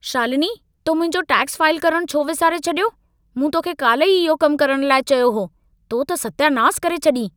शालिनी, तो मुंहिंजो tax file करणु छो विसारे छॾियो? मूं तोखे काल्ह ई इहो कमु करण लाइ चयो हो। तो त सत्यानास करे छॾी!